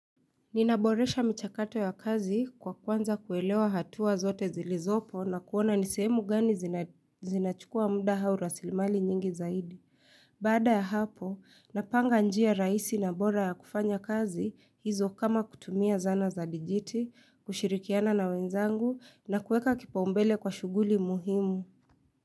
Ninaboresha michakato ya kazi kwa kwanza kuelewa hatua zote zilizopo na kuona ni sehemu gani zinachukua muda au raslimali nyingi zaidi. Baada ya hapo, napanga njia raisi na bora ya kufanya kazi hizo kama kutumia zana za dijiti, kushirikiana na wenzangu na kueka kipaumbele kwa shughuli muhimu.